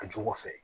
A jogo fɛ